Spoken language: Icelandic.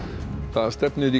það stefnir í